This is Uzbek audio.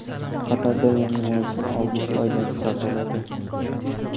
Qatarda yangi mavsum avgust oyidan start oladi.